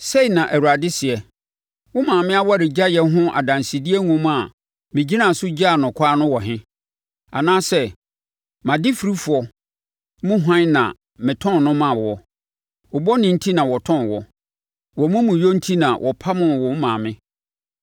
Sei na Awurade seɛ: “Wo maame awaregyaeɛ ho adansedie nwoma a megyinaa so gyaa no ɛkwan no wɔ he? Anaa sɛ mʼadefirifoɔ mu hwan na metɔn wo maa noɔ? Wo bɔne enti na wɔtɔn wo; Wʼamumuyɛ enti na wɔpamoo wo maame.